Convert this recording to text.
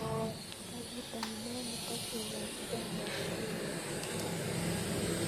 Karit ab maat netokyingei chicago subui kobo sait ata